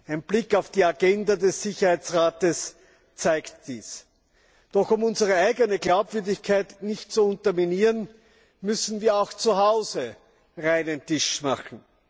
Ein Blick auf die Agenda des Sicherheitsrates zeigt dies. Doch um unsere eigene Glaubwürdigkeit nicht zu unterminieren, müssen wir auch zuhause reinen Tisch machen.